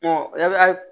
yali